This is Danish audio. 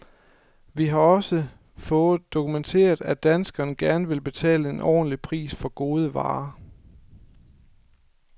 Vi har også fået dokumenteret, at danskerne gerne vil betale en ordentlig pris for gode varer.